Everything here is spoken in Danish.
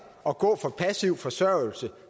at gå fra passiv forsørgelse